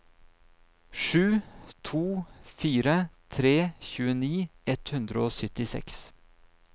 sju to fire tre tjueni ett hundre og syttiseks